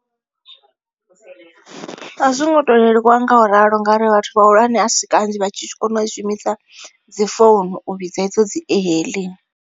A zwo ngo to leluwa nga u ralo ngauri vhathu vhahulwane a si kanzhi vha tshi tshi kona u shumisa dzi founu u vhidza edzo dzi e hailing.